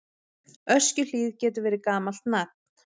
Öskjuhlíð getur verið gamalt nafn.